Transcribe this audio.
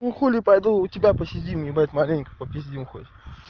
ну хули пойду у тебя посидим ебать маленько попиздим хоть